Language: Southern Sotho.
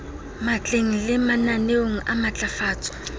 matleng le mananeong a matlafatso